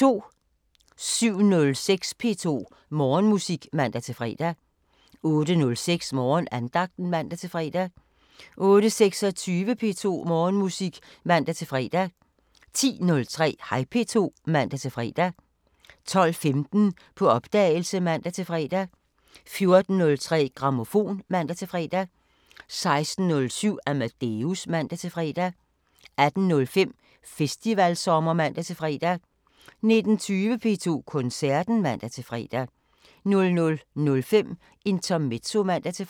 07:06: P2 Morgenmusik (man-fre) 08:06: Morgenandagten (man-fre) 08:26: P2 Morgenmusik (man-fre) 10:03: Hej P2 (man-fre) 12:15: På opdagelse (man-fre) 14:03: Grammofon (man-fre) 16:07: Amadeus (man-fre) 18:05: Festivalsommer (man-fre) 19:20: P2 Koncerten (man-fre) 00:05: Intermezzo (man-fre)